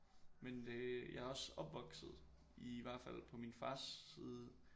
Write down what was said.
Men det jeg er også opvokset i hvert fald på min fars side